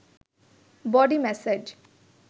body massage